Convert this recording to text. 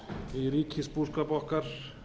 í ríkisbúskap okkar